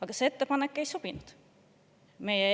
Aga see ettepanek ei sobinud.